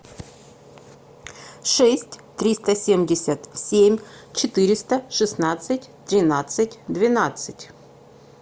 шесть триста семьдесят семь четыреста шестнадцать тринадцать двенадцать